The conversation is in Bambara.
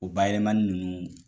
O bayɛlɛmani ninnu